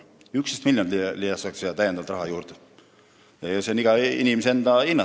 11 miljonit leitakse raha juurde – eks see on iga inimese enda hinnata.